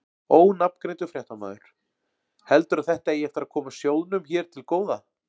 Ónafngreindur fréttamaður: Heldurðu að þetta eigi eftir að koma sjóðnum hér til góða?